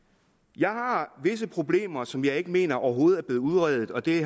jeg har visse problemer som jeg ikke mener overhovedet er blevet udredt og det